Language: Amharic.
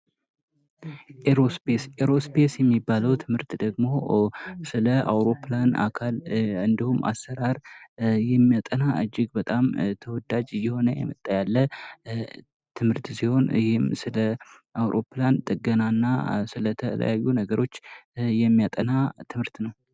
ኤሮስፔስ:- ኤሮስፔስ የሚባለዉ ትምህርት ደግሞ ስለ አዉሮፕላን አካል እንዲሁም አሰራር ሚያጠና እጅግ በጣም ተወዳጅ እየሆነ የመጣ ያለ ትምሀሰርት ሲሆን ይህም ስለ አዉሮፕላን ጥገና እና ስለ ተለያዩ ነገሮች የሚያጠና ትምህርት ነዉ።